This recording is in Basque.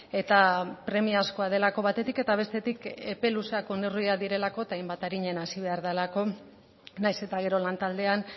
eta premiazkoa delako batetik eta bestetik epe luzerako neurriak direlako eta hainbat arinen hasi behar delako nahiz eta gero lantaldean